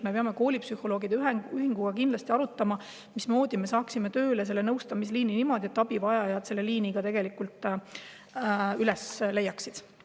Me peame koolipsühholoogide ühinguga kindlasti arutama, mismoodi me saaksime selle nõustamisliini tööle niimoodi, et abivajajad selle liini ka tegelikult üles leiaksid.